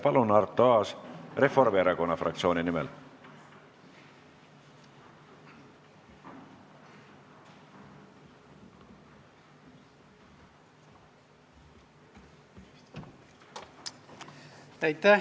Palun, Arto Aas, Reformierakonna fraktsiooni nimel!